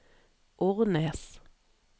Ornes